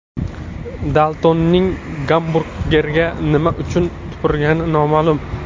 Daltonning gamburgerga nima uchun tupurgani noma’lum.